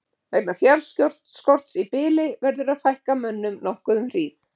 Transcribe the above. Vegna fjárskorts í bili verður að fækka mönnum nokkuð um hríð.